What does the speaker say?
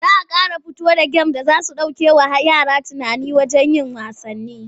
Za a ƙara fito da gem-gem da za su ɗaukewa yara hankali daga yin wasanni.